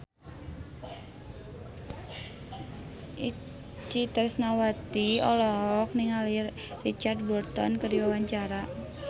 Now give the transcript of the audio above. Itje Tresnawati olohok ningali Richard Burton keur diwawancara